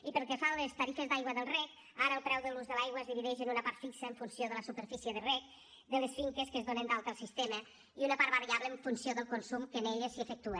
i pel que fa a les tarifes d’aigua del reg ara el preu de l’ús de l’aigua es divideix en una part fixa en funció de la superfície de reg de les finques que es donen d’alta al sistema i una part variable en funció del consum que en elles s’hi efectua